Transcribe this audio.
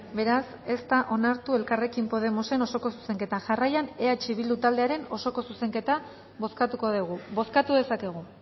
beraz ez da onartu elkarrekin podemosen osoko zuzenketa jarraian eh bildu taldearen osoko zuzenketa bozkatuko dugu bozkatu dezakegu